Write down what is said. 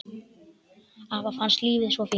Afa fannst lífið svo fínt.